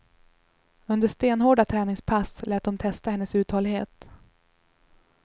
Under stenhårda träningspass lät de testa hennes uthållighet.